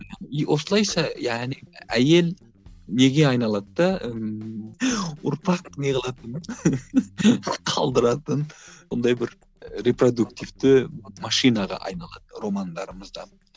осылайша яғни әйел неге айналады да ыыы ұрпақ не қылатын қалдыратын ондай бір репродуктивті машинаға айналады романдарымызда